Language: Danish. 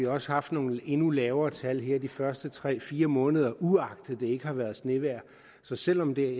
også har haft nogle endnu lavere tal her de første tre fire måneder uagtet det ikke har været snevejr så selv om det